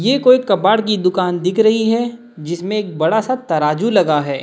ये कोई कबाड़ की दुकान दिख रही है जिसमें एक बड़ा सा तराजू लगा है।